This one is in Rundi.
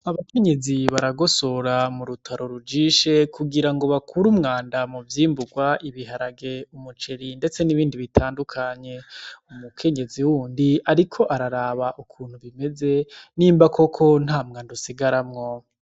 Abakenyezi baragosora mu rutaro rujishe kugira ngo bakure umwanda mu vyimburwa: ibiharage, umuceri ndetse n'ibindi bitandukanye. Umukenyezi wundi ariko araraba ukuntu bimeze, nimba koko ata mwanda usigaramwo.